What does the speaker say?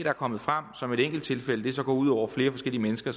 er kommet frem som et enkelttilfælde går ud over flere forskellige mennesker